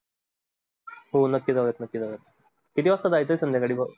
हो नक्की जाऊयात, नक्की जाऊयात पण जाऊ किती वाजता जायचं संध्याकाळी?